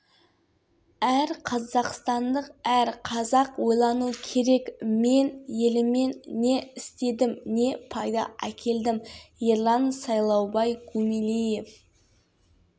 жалпы тарихта жазылмайтын қағида бар әр адам өзінің туған жері кіндік қаны тамған жерінен км асып